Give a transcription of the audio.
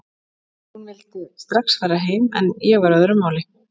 Hún vildi strax fara heim en ég var á öðru máli.